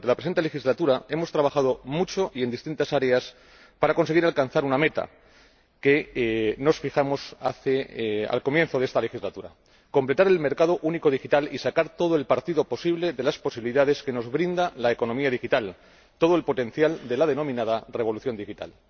Durante la presente legislatura, hemos trabajado mucho y en distintas áreas para conseguir alcanzar una meta que nos fijamos al comienzo de esta legislatura completar el mercado único digital y sacar todo el partido posible de las posibilidades que nos brinda la economía digital, todo el potencial de la denominada revolución digital.